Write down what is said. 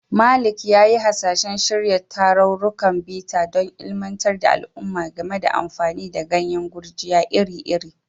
Malik ya yi hasashen shirya tarurrukan bita don ilimantar da al'umma game da amfani da ganyen gurjiya iri-iri.